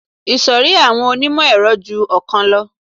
Ìṣòrí àwọn onímọ̀-ẹ̀rọ ju ọ̀kan lọ